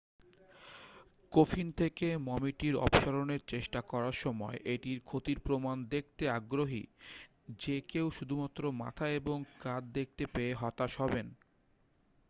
coffin থেকে মমিটির অপসারণের চেষ্টা করার সময় এটির ক্ষতির প্রমাণ দেখতে আগ্রহী যে কেউ শুধুমাত্র মাথা এবং কাঁধ দেখতে পেয়ে হতাশ হবেন